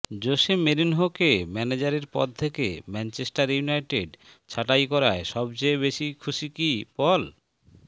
Jose মোরিনহোকে ম্যানেজারের পদ থেকে ম্যাঞ্চেস্টার ইউনাইটেড ছাঁটাই করায় সবচেয়ে বেশি খুশি কি পল